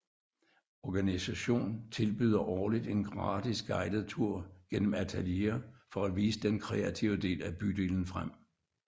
Organisation tilbyder årligt en gratis guidet tur gennem atelierer for at vise den kreative del af bydelen frem